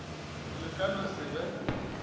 le ka no se be